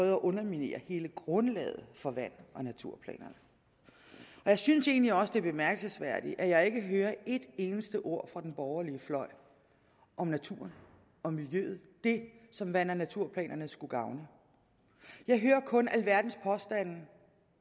at underminere hele grundlaget for vand og naturplanerne jeg synes egentlig også det er bemærkelsesværdigt at jeg ikke hører et eneste ord fra den borgerlige fløj om naturen og miljøet det som vand og naturplanerne skulle gavne jeg hører kun alverdens påstande